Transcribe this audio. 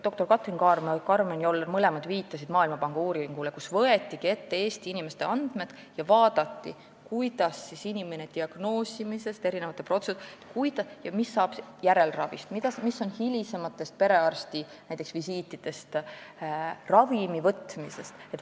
Doktor Katrin Kaarma ja doktor Karmen Joller viitasid mõlemad Maailmapanga uuringule, kus võeti ette Eesti inimeste andmed ja vaadati, kuidas siis inimene diagnoosi saab, millised on protseduurid ning kuidas ja mis saab järelravist, hilisematest perearstivisiitidest, ravimivõtmisest.